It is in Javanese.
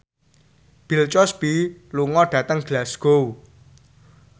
Bill Cosby lunga dhateng Glasgow